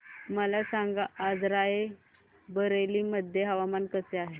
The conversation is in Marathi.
मला सांगा आज राय बरेली मध्ये हवामान कसे आहे